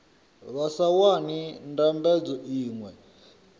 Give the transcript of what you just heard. vha sa wani ndambedzo iṅwe